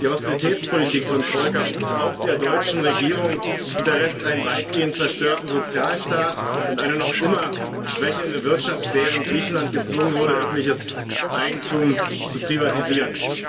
Die Austeritätspolitik von Troika und auch der deutschen Regierung hinterlässt einen weitgehend zerstörten Sozialstaat und eine noch immer schwächelnde Wirtschaft, während Griechenland gezwungen wurde, öffentliches Eigentum zu privatisieren.